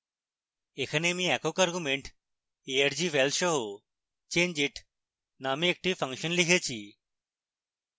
এখানে আমি একক argument argval সহ changeit named একটি ফাংশন লিখেছি